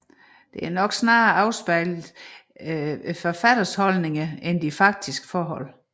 Det har nok snarere afspejlet forfatternes holdninger end de faktiske forhold